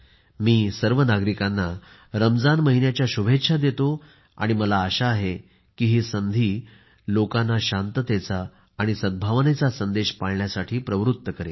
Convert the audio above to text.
मी सर्व नागरिकांना रमजान महिन्याचा शुभेच्छा देतो आणि मला आशा आहे की ही संधी लोकांना शांततेचा आणि सद्भावनेचा संदेश पाळण्यास प्रवृत्त करेल